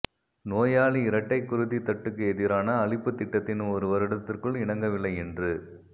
நோயாளி இரட்டை குருதித்தட்டுக்கு எதிரான அளிப்புத் திட்டத்தின் ஒரு வருடத்திற்குள் இணங்கவில்லை என்று